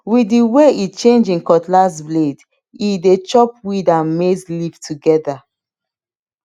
with the way e change him cutlass blade e dey chop weed and maize leaf together